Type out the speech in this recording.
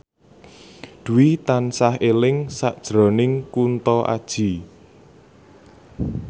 Dwi tansah eling sakjroning Kunto Aji